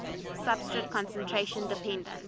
substrate concentration dependence